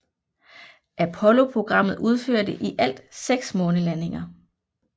Apolloprogrammet udførte i alt 6 månelandinger